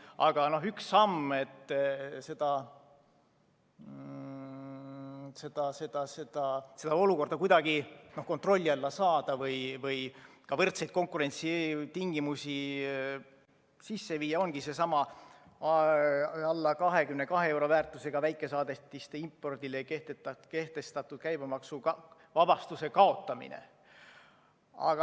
Aga üks samm, et seda olukorda kuidagi kontrolli alla saada või võrdseid konkurentsitingimusi sisse viia, ongi seesama alla 22‑eurose väärtusega väikesaadetiste impordile kehtestatud käibemaksuvabastuse kaotamine.